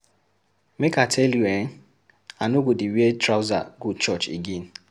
Make I tell you eh, I no go dey wear trouser go church again.